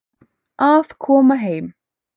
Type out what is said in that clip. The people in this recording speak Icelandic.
Að koma heim